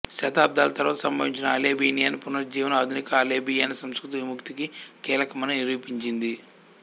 శతాబ్దాల తరువాత సంభవించిన అల్బేనియన్ పునరుజ్జీవనం ఆధునిక అల్బేనియన్ సంస్కృతి విముక్తికి కీలకమని నిరూపించింది